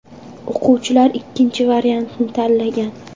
O‘quvchilar ikkinchi variantni tanlagan.